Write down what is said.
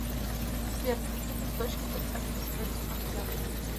сбер в каких источниках описывается октябрь